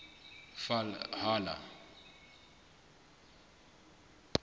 valhalla